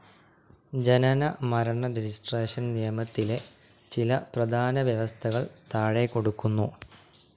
ജനന മരണ രജിസ്ട്രേഷൻ നിയമത്തിലെ ചില പ്രധാന വ്യവസ്ഥകൾ താഴെകൊടുക്കുന്നു.